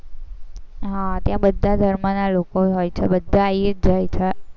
હા ત્યાં બધા ધર્મના લોકો હોય છે, બધા આઇયે જાય છે